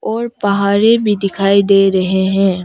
और पहारी भी दिखाई दे रहे हैं।